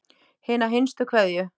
Hina hinstu kveðju.